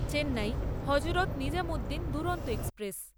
Chennai Hazrat Nizamuddin Duronto express